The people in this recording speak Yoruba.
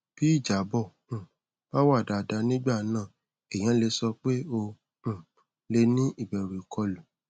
bí ìjábọ um bá wá dáadáa nígbà náà èèyàn lè sọ pé o um lè ní ìbẹrù ìkọlù